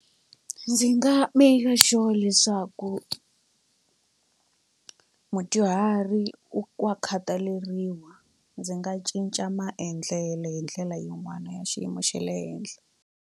Ndzi nga maker sure leswaku mudyuhari wa khataleriwa ndzi nga cinca maendlelo hi ndlela yin'wana ya xiyimo xa le henhla.